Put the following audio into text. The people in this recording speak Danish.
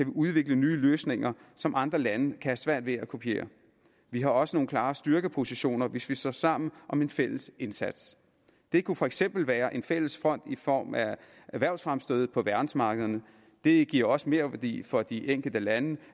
udvikle nye løsninger som andre lande have svært ved at kopiere vi har også nogle klare styrkepositioner hvis vi står sammen om en fælles indsats det kunne for eksempel være en fælles fond i form af erhvervsfremstød på verdensmarkederne det giver også merværdi for de enkelte lande